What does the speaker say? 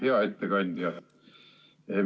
Hea ettekandja!